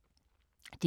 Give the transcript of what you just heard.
DR K